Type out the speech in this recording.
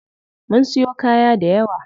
Mun siyo kaya dayawa.